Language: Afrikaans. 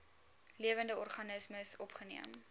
lewende organismes opgeneem